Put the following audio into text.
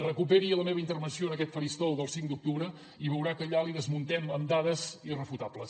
recuperi la meva intervenció en aquest faristol del cinc d’octubre i veurà que allà li desmuntem amb dades irrefutables